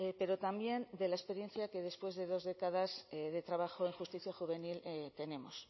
pero también de la experiencia que después de dos décadas de trabajo en justicia juvenil tenemos